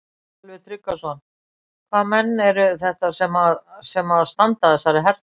Sölvi Tryggvason: Hvaða menn eru þetta sem að, sem að standa að þessari herferð?